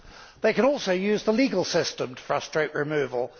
They can also use the legal system to frustrate removal.